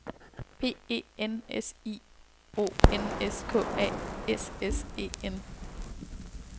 P E N S I O N S K A S S E N